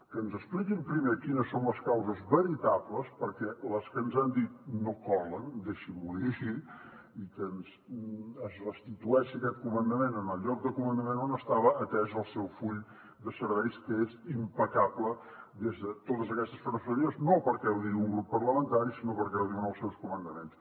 que ens expliquin primer quines són les causes veritables perquè les que ens han dit no colen deixin m’ho dir així i que es restitueixi aquest comandament en el lloc de comandament on estava atès el seu full de serveis que és impecable des de totes aquestes perspectives no perquè ho digui un grup parlamentari sinó perquè ho diuen els seus comandaments